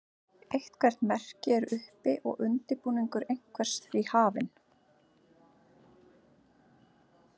Eitthvert merki er uppi og undirbúningur einhvers því hafinn.